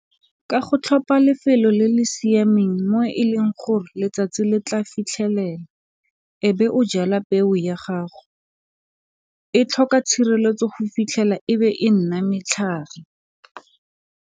Ka go tlhopha lefelo le le siameng mo e leng gore letsatsi le tla fitlhelela e be o jala peo ya gago e tlhoka tshireletso go fitlhela e be e nna matlhare.